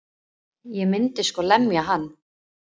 Ég myndi sko lemja hann.